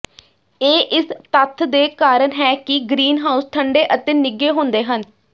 ਇਹ ਇਸ ਤੱਥ ਦੇ ਕਾਰਨ ਹੈ ਕਿ ਗ੍ਰੀਨਹਾਉਸ ਠੰਡੇ ਅਤੇ ਨਿੱਘੇ ਹੁੰਦੇ ਹਨ